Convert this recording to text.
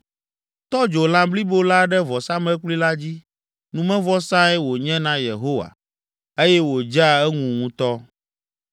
Tɔ dzo lã blibo la ɖe vɔsamlekpui la dzi. Numevɔsae wònye na Yehowa, eye wòdzea eŋu ŋutɔ.